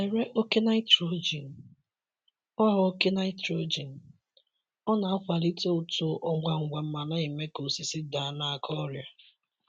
Zere oke nitrogen; ọ oke nitrogen; ọ na-akwalite uto ngwa ngwa ma na-eme ka osisi daa n’aka ọrịa.